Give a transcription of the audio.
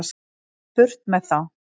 Burt með þá.